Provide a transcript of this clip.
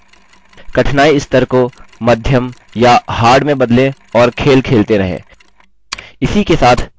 कठिनाई स्तर को मीडियम या हार्ड में बदलें और खेल खेलते रहें